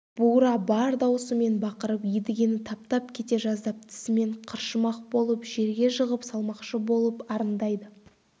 бура бар даусымен бақырып едігені таптап кете жаздап тісімен қыршымақ болып жерге жығып салмақшы болып арындайды